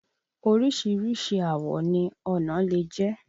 Oríṣìíríṣìí àwọ̀ ni ọnà lè jẹ́.